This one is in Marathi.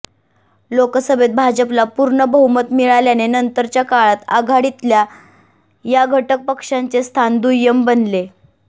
लोकसभेत भाजपला पूर्ण बहुमत मिळाल्याने नंतरच्या काळात आघाडीतल्या या घटक पक्षांचे स्थान दुय्यम बनले